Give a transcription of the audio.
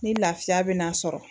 Ni lafiya bɛna sɔrɔ